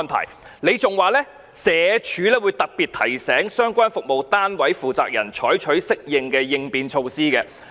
他亦指出，社署會特別提醒相關服務單位負責人採取適當的應變措施。